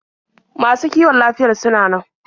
Masu kiwon lafiyar suna nan?